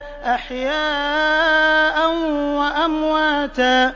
أَحْيَاءً وَأَمْوَاتًا